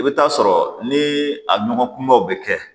I bɛ taa sɔrɔ ni a nɔgɔ kumabaw bɛ kɛ